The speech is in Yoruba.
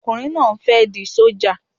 Ọkùnrin náà ń fẹ́ di sójà